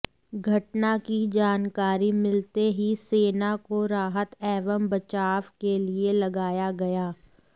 घटना की जानकारी मिलते ही सेना को राहत एवं बचाव के लिए लगाया गया